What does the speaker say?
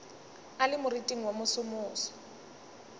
a le moriting wo mosomoso